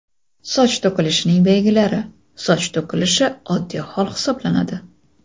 Soch to‘kilishining belgilari Soch to‘kilishi oddiy hol hisoblanadi.